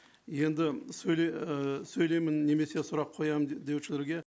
енді ы сөйлеймін немесе сұрақ қоямын деушілерге